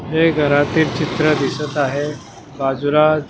हे घरातील चित्र दिसत आहे बाजूला --